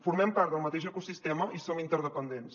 formem part del mateix ecosistema i som interdependents